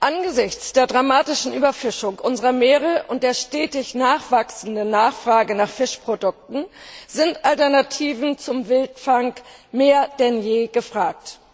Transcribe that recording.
Angesichts der dramatischen Überfischung unserer Meere und der stetig wachsenden Nachfrage nach Fischprodukten sind Alternativen zum Wildfang mehr denn je gefragt.